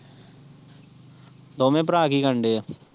ਦੋਂਵੇ ਭਰਾ ਕੀ ਕਰਨ ਦਏ ਏ?